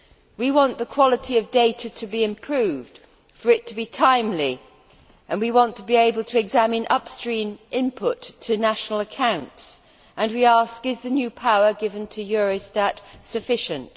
We want the quality of data to be improved, for it to be timely, and we want to be able to examine upstream input to national accounts, and we ask is the new power given to Eurostat sufficient?